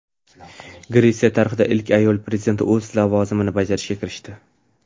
Gretsiya tarixidagi ilk ayol prezident o‘z lavozimini bajarishga kirishdi.